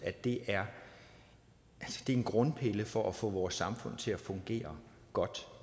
at det er en grundpille for at få vores samfund til at fungere godt